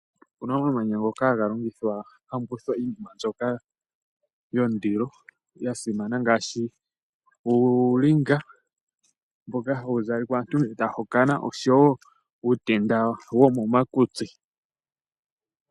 Opena omamanya ngoka haga longithwa tamu kuthwa iinima mbyoka yondilo ngaashi uulinga mboka hawu zalwa kaantu uuna taya hokana nosho woo uutenda mboka hawu zaliwa momakutsi.